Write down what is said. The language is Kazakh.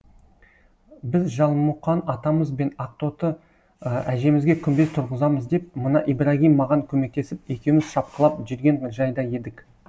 біз жалмұқан атамыз бен ақтоты әжемізге күмбез тұрғызамыз деп мына ибрагим маған көмектесіп екеуіміз шапқылап жүрген жайда едік